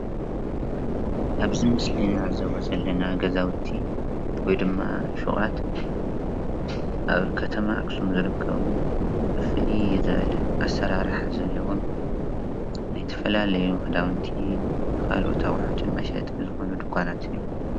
ኣብዚ ምስሊ እንዕዘቦም ዘለና ገዛውቲ/ፎቃት/ኣብ ከተማ ኣክሱም ዝርከብ ፍልይ ዝበለ ኣሰራርሓ ዘለዎም ናይ ዝተፈላለዩ ክዳውንቲ ካልኦት ኣቑሑ ዝኮኑ መሸጢ ድኳናት እዮም።